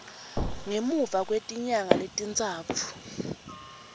ngemuva kwetinyanga letintsatfu